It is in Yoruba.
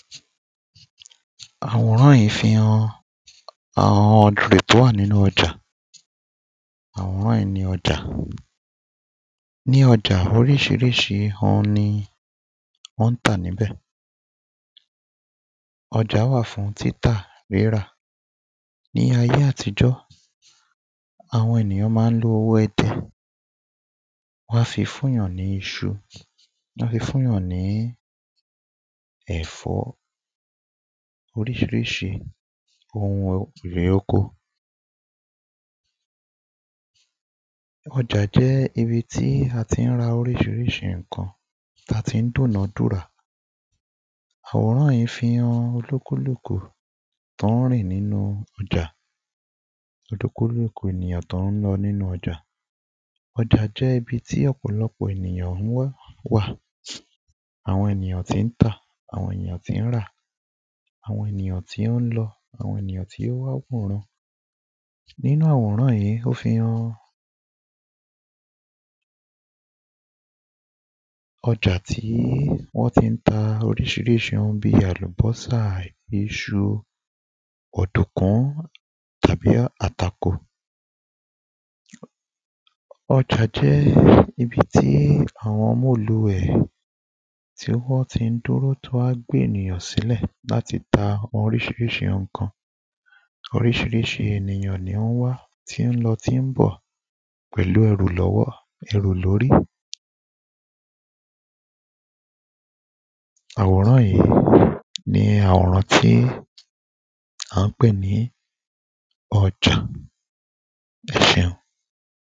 àwòrán yìí fihàn àwọn èrò tó wá nínú ọjà, àwòrán yìí ọjà ní oríṣiríṣi òun ni wọ́n tà níbẹ̀ ọjà wà fún títà, rírà, ní ayé àtijọ́ àwọn ènìyàn ma ń lo owó idẹ wán fi fúnyàn ní iṣu, wán fi fúnyàn ní ẹ̀fọ́, oríṣiríṣi ohun èrè oko ọjà jẹ́ ibi tí a ti ń ra oríṣiríṣi ǹkan táa ti ń dúnàdúrà àwòran fi ń han onílúkúlùkù tó ń rìn nínú ọjà onílúkúlùlù nìyàn tó ń lọ nínú ọjà, ọjà jẹ́ ibi tí ọ̀pọ̀lọ́pọ̀ ènìyàn ńwà àwọn ènìyàn tí ń tà, àwọn ènìyàn tí ń rà, àwọn ènìyàn tí ó ń lọ, àwọn ènìyàn tí ó wá wòran nínú àwòrán yìí, ó fi han ọjà tí wọ́n ti ń ta oríṣiríṣi ohun bíi àlubọ́sà, iṣu òdùkún tàbí àtàkò ọjà jẹ́ ibi tí àwọn móluẹ̀ tí wọ́n ti ń dúró tí wán gbé ènìyàn sílẹ̀ láti ta oríṣiríṣi ǹkan oríṣiríṣi ènìyàn ní ń wá, tí ń lọ tí ń bọ̀ pẹ̀lú ẹrù lọ́wọ́, ẹrù lórí àwòrán yìí ní àwòrán tí à ń pè ní ọjà, ẹ ṣeun